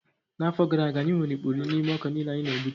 N'afọ gara aga, anyị nwere ikpuri n'ime ọka niile anyị na-egbute